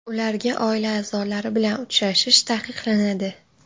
Ularga oila a’zolari bilan uchrashish taqiqlanadi.